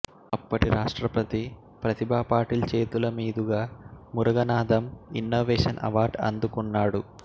అప్పటి రాష్ట్రపతి ప్రతిభాపాటిల్ చేతుల మీదుగా మురగనాథమ్ ఇన్నోవేషన్ అవార్డ్ అందుకున్నాడు